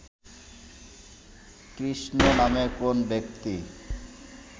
কৃষ্ণ নামে কোন ব্যক্তি